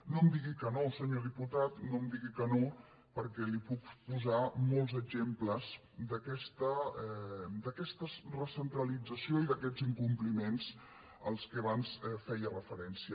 no em digui que no senyor diputat no em digui que no perquè li puc posar molts exemples d’aquesta recentralització i d’aquests incompliments a què abans feia referència